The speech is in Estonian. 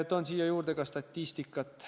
Toon siia juurde ka statistikat.